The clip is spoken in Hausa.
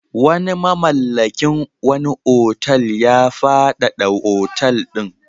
Wani mamallakin wani otal ya faɗaɗa otal ɗin.